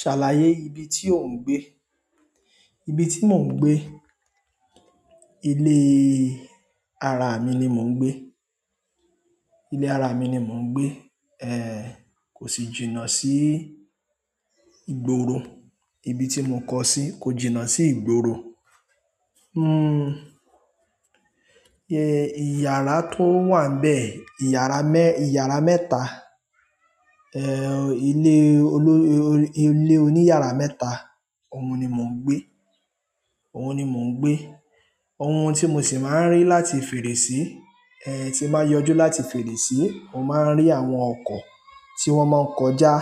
Ṣàlàyé ibi tí ò ń gbé. Ibi tí mò ń gbé, ilé ara mi ni mò ń gbé, ilé ara mi ni mò ń gbé. Ehn, kò sì jìnnà sí ìgboro, ibi tí mo kọ sí kò jìnnà sí ìgboro. Hmm, eh, ìyàrá tó wà n bẹ́ẹ̀, ìyàrá mẹ́, ìyàrá mẹ́ta, eh, ilé olo- ilé oní yàrá mẹ́ta, òun ni mò ń gbé, òun ni mò ń gbé. Ohun tí mo sì máa ń rí láti fèrèsí, eh, tí máa yọjú láti fèrèsí, mo máa ń rí àwọn ọkọ̀ tí wọ́n máa ń kọjá,